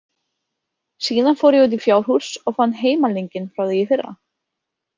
Síðan fór ég út í fjárhús og fann heimalninginn frá því í fyrra.